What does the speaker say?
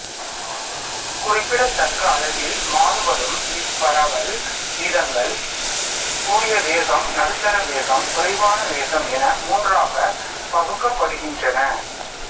குறிப்பிடத்தக்க அளவில் மாறுபடும் இப் பரவல் வீதங்கள் கூடிய வேகம் நடுத்தர வேகம் குறைவான வேகம் என மூன்றாகப் பகுக்கப்படுகின்றன